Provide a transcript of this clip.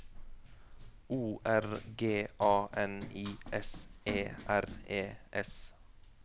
O R G A N I S E R E S